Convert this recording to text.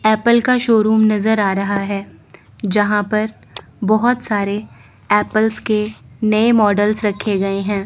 Apple का showroom नजर आ रहा है जहां पर बहोत सारे एप्पल्स के नए मॉडल्स रखे गएं हैं।